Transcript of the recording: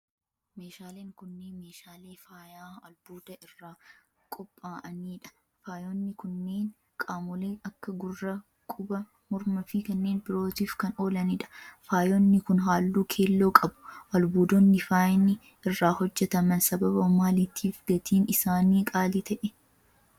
Meeshaaleen kunneen, meeshaalee faayaa albuuda irraa qopha'anii dha. Faayonni kunneen qaamolee akka; gurra, quba ,morma fi kanneen birootif kan oolanii dha. Faayonni kun, haalluu keelloo qabu. Albuudonni faayni irraa hojjataman sababa maaliitif gatiin isaanii qaalii ta'e?